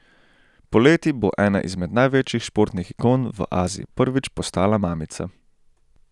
Poleti bo ena izmed največjih športnih ikon v Aziji prvič postala mamica.